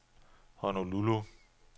Honolulu